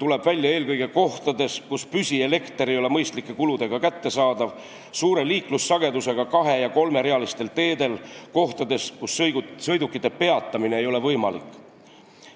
tuleb välja eelkõige kohtades, kus püsielekter ei ole mõistlike kuludega kättesaadav, suure liiklussagedusega kahe- ja kolmerealistel teedel ning kohtades, kus sõidukite peatamine ei ole võimalik.